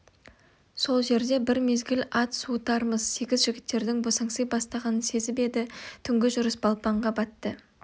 сол жерде бір мезгіл ат суытармыз сегіз жігіттердің босаңси бастағанын сезіп еді түнгі жүріс балпанға батты